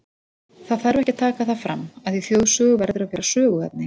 Það þarf ekki að taka það fram, að í þjóðsögu verður að vera söguefni.